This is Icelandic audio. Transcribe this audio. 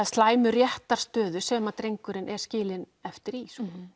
slæmu réttarstöðu sem drengurinn er skilinn eftir í þú